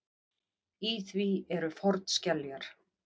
Í því eru fornskeljar.